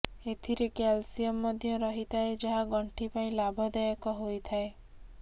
ଏଥିରେ କ୍ୟାଲସିୟମ ମଧ୍ୟ ରହିଥାଏ ଯାହା ଗଣ୍ଠି ପାଇଁ ଲାଭଦାୟକ ହୋଇଥାଏ